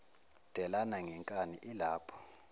delana ngenkani ilapho